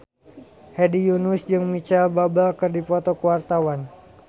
Hedi Yunus jeung Micheal Bubble keur dipoto ku wartawan